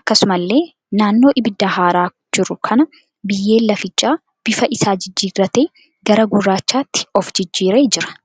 Akkasumallee naannoo ibiddaa haaraa jiru kana biyyeen lafichaa bifa isaa jijjirratee gara gurraachaatti of jijjiiree jira.